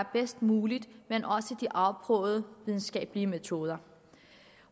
bedst mulige men også de afprøvede videnskabelige metoder